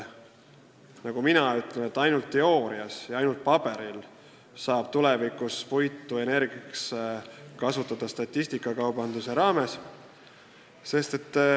Nagu mina ütlen, ainult teoorias ja ainult paberil saab tulevikus puitu energiaks kasutada statistikakaubanduse raames.